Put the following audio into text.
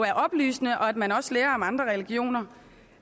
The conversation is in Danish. er oplysende og at man også lærer om andre religioner